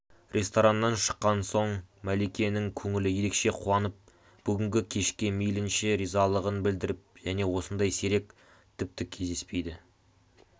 рестораннан шыққан соң мәликенің көңілі ерекше қуанып бүгінгі кешке мейлінші ризалығын білдіріп және осындай сирек тіпті кездеспейді